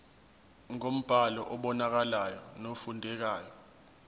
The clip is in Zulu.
ngombhalo obonakalayo nofundekayo